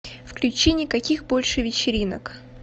включи никаких больше вечеринок